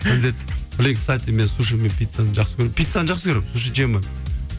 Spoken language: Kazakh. міндет блин кстати мен суши мен пиццаны жақсы көремін пиццаны жақсы көремін суши жей алмаймын